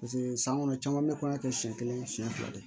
san kɔnɔ caman be kɔɲɔ kɛ siɲɛ kelen siɲɛ fila de